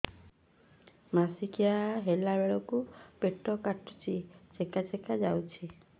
ମାସିକିଆ ହେଲା ବେଳକୁ ପେଟ କାଟୁଚି ଚେକା ଚେକା ଯାଉଚି